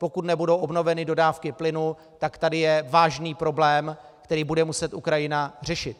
Pokud nebudou obnoveny dodávky plynu, tak tady je vážný problém, který bude muset Ukrajina řešit.